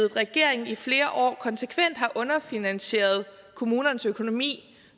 regering i flere år konsekvent har underfinansieret kommunernes økonomi